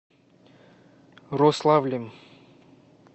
рославлем